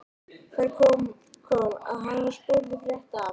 Þar kom að hann var spurður frétta af